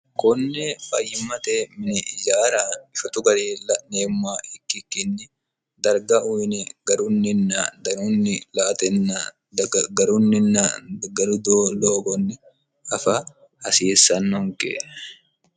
konne fayyimmate mini ijaara shotu garinni laneemmoha ikkikkinni darga uyine garunninna danunni la'atenna dagarunninna garu doogonni afa hasiissannonke